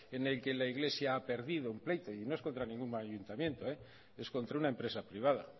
en el que la iglesia ha perdido un pleito y no es contra ningún ayuntamiento es contra una empresa privada